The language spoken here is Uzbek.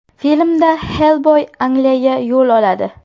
Filmda Xellboy Angliyaga yo‘l oladi.